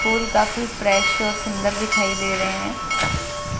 फूल काफी फ्रेश और सुंदर दिखाई दे रहे--